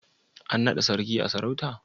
An naɗa Sarkin a sarauta?